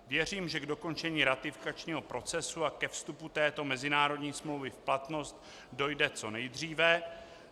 Věřím, že k dokončení ratifikačního procesu a ke vstupu této mezinárodní smlouvy v platnost dojde co nejdříve.